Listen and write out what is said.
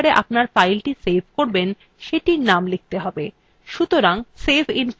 এখানে আপনি যে folder আপনার file সেভ করবেন সেটির name লিখতে হবে